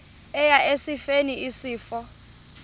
eya esifeni isifo